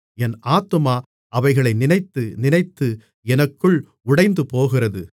என் ஆத்துமா அவைகளை நினைத்து நினைத்து எனக்குள் உடைந்துபோகிறது